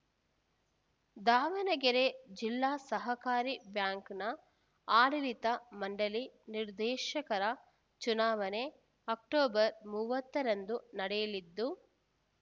ದಾವಣಗೆರೆ ಜಿಲ್ಲಾ ಸಹಕಾರಿ ಬ್ಯಾಂಕ್‌ನ ಆಡಳಿತ ಮಂಡಳಿ ನಿರ್ದೇಶಕರ ಚುನಾವಣೆ ಅಕ್ಟೋಬರ್ ಮೂವತ್ತರಂದು ನಡೆಯಲಿದ್ದು